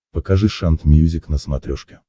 покажи шант мьюзик на смотрешке